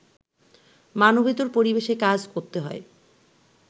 মানবেতর পরিবেশে কাজ করতে হয়